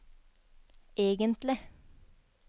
egentlig